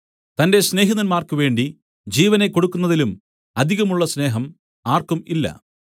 തന്റെ സ്നേഹിതന്മാർക്കുവേണ്ടി ജീവനെ കൊടുക്കുന്നതിലും അധികമുള്ള സ്നേഹം ആർക്കും ഇല്ല